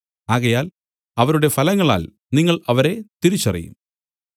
ആകയാൽ അവരുടെ ഫലങ്ങളാൽ നിങ്ങൾ അവരെ തിരിച്ചറിയും